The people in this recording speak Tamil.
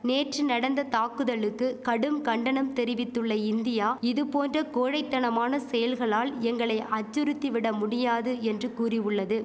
நேற்று நடந்த தாக்குதலுத்து கடும் கண்டனம் தெரிவித்துள்ள இந்தியா இது போன்ற கோழை தனமான செயல்களால் எங்களை அச்சுறுத்திவிட முடியாது என்று கூறியுள்ளது